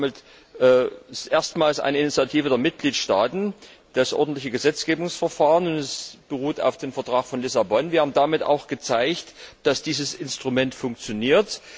Damit ist erstmals eine Initiative der Mitgliedstaaten das ordentliche Gesetzgebungsverfahren, und es beruht auf dem Vertrag von Lissabon. Wir haben damit auch gezeigt, dass dieses Instrument funktioniert.